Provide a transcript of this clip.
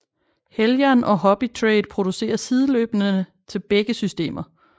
Heljan og Hobbytrade producerer sideløbende til begge systemer